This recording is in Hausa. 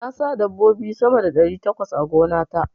Na sa dabbobi sama da ɗari takwas a gona ta.